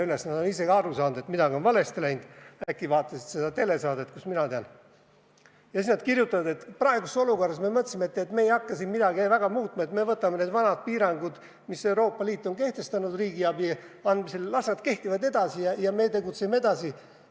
Nad on ise ka aru saanud, et midagi on valesti läinud – äkki vaatasid seda telesaadet, kust mina tean –, ja siis nad kirjutavad, et praeguses olukorras me mõtlesime, et me ei hakka siin midagi väga muutma, me võtame need vanad piirangud, mis Euroopa Liit on kehtestanud riigiabi andmisel, las nad kehtivad edasi ja me tegutseme edasi.